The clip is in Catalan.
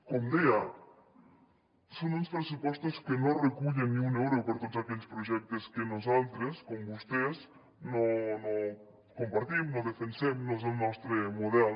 com deia són uns pressupostos que no recullen ni un euro per a tots aquells projectes que nosaltres com vostès no compartim no defensem no és el nostre model